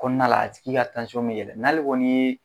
Kɔnɔna la a tigi ka bɛ yɛlɛ n'ale kɔni ye